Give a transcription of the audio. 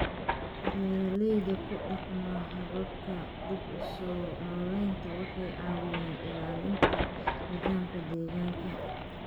Beeralayda ku dhaqma hababka dib-u-soo-nooleynta waxay caawiyaan ilaalinta nidaamka deegaanka.